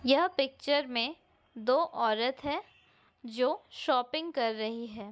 यह पिक्चर मे दो औरत है जो शॉपिंग कर रही है।